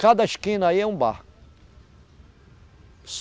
Cada esquina aí é um bar.